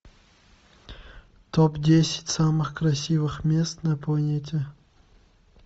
топ десять самых красивых мест на планете